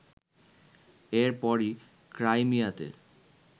এর পরই ক্রাইমিয়াতে